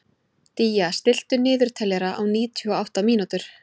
Día, stilltu niðurteljara á níutíu og átta mínútur.